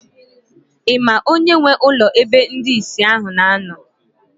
Ị ma onye nwe ụlọ ebe ndị ìsì ahụ na-anọ?